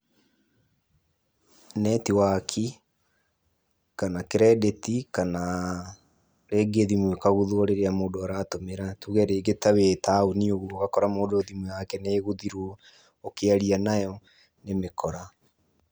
Netiwaki, kana credit kana rĩngĩ thimũ ĩkaguthwo rĩrĩa mũndu aratũmĩra tuge rĩngĩ ta wĩ taũni ũguo ũgakora mũndũ thimũ yake nĩ ĩguthirwo ũkĩaria nayo nĩ mĩkora.